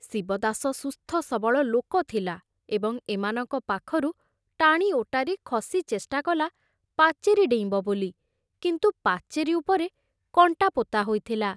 ଶିବଦାସ ସୁସ୍ଥ ସବଳ ଲୋକ ଥିଲା ଏବଂ ଏମାନଙ୍କ ପାଖରୁ ଟାଣି ଓଟାରି ଖସି ଚେଷ୍ଟାକଲା ପାଚେରୀ ଡେଇଁବ ବୋଲି, କିନ୍ତୁ ପାଚେରୀ ଉପରେ କଣ୍ଟା ପୋତା ହୋଇଥିଲା।